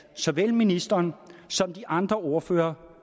såvel ministeren som de andre ordførere